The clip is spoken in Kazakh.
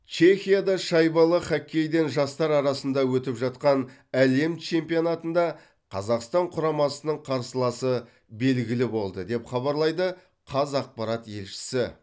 чехияда шайбалы хоккейден жастар арасында өтіп жатқан әлем чемпионатында қазақстан құрамасының қарсыласы белгілі болды деп хабарлайды қазақпарат елшісі